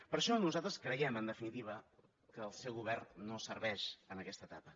per això nosaltres creiem en definitiva que el seu govern no serveix en aquesta etapa